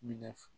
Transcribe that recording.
Minɛ